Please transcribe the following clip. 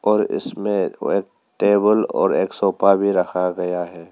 और इसमें टेबल और एक भी रखा गया है।